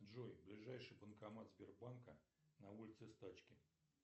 джой ближайший банкомат сбербанка на улице стачки